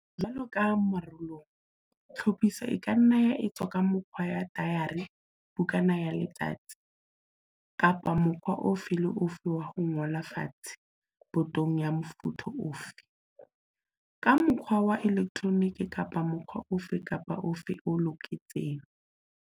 Jwalo ka moralong, tlhophiso e ka nna ya etswa ka mokgwa wa tayari-bukana ya letsatsi, kapa mokgwa ofe le ofe wa ho ngola fatshe botong ya mofuta ofe, ka mokgwa wa elektronike kapa mokgwa ofe kapa ofe o loketseng.